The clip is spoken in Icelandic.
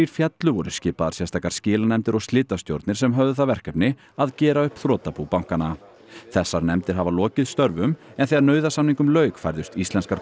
féllu voru skipaðar sérstakar skilanefndir og slitastjórnir sem höfðu það verkefni að gera upp þrotabú bankanna þessar nefndir hafa lokið störfum en þegar nauðasamningum lauk færðust íslenskar